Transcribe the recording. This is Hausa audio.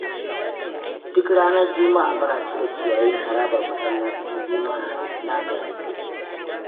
Duk ranar juma'a muna cire ciyayin harabar masallacin juma'a na garinmu.